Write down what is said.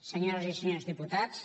senyores i senyors diputats